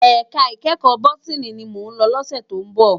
Èká ikèékò bótìní ni mó n lò lòsè tó n bò